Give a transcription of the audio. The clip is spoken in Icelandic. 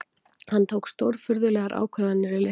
Hann tók stórfurðulegar ákvarðanir í leiknum